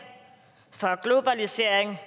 for globalisering